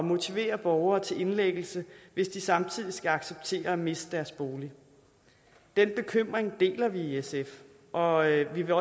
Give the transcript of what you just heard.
motivere borgere til indlæggelse hvis de samtidig skal acceptere at miste deres bolig den bekymring deler vi i sf og vi vil